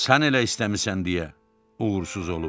sən elə istəmisən deyə uğursuz olub.